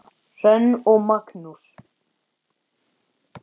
Hrönn og Magnús.